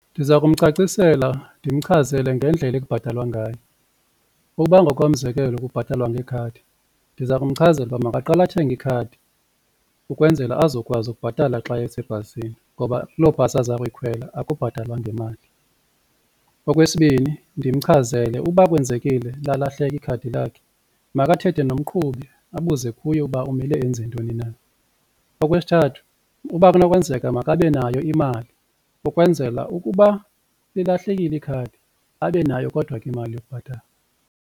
Ndiza kumcacisela ndimchazele ngendlela ekubhatalwa ngayo. Ukuba ngokomzekelo kubhatalwa ngekhadi ndiza kumchazela ukuba makaqale athenge ikhadi ukwenzela azokwazi ukubhatala xa esebhasini ngoba kuloo bhasi aza kuyikhwela akubhatalwa ngemali. Okwesibini, ndimchazele uba kwenzekile lalahleka ikhadi lakhe makathethe nomqhubi abuze kuye uba umele enze ntoni na. Okwesithathu, uba kunokwenzeka makabe nayo imali ukwenzela ukuba lilahlekile ikhadi abe nayo kodwa ke imali yokubhatala.